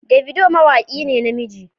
Davido mawaki ne na namiji.